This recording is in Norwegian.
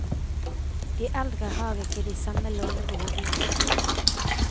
De eldre har ikke de samme lånebehov lenger.